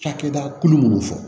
Cakɛda kulu munnu fɔ